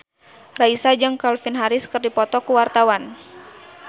Raisa jeung Calvin Harris keur dipoto ku wartawan